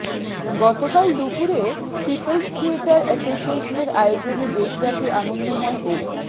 গতকাল দুপুরে people's theatre অ্যাসোসিয়েশনের আয়োজনে দেশব্যাপী আনন্দময় ও